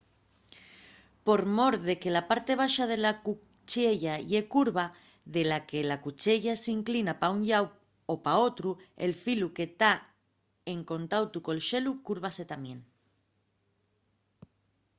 por mor de que la parte baxa de la cuchiella ye curva de la que la cuchiella s’inclina pa un llau o pa otru el filu que ta en contautu col xelu cúrvase tamién